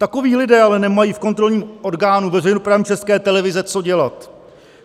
Takoví lidé ale nemají v kontrolním orgánu veřejnoprávní České televize co dělat.